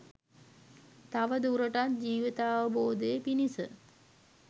තවදුරටත් ජීවිතාවබෝධය පිණිස